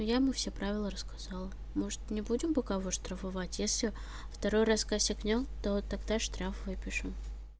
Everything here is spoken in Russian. я ему все правила рассказала может не будем пока его штрафовать если второй раз косякнёт то тогда штраф выпишем